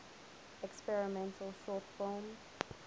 experimental short film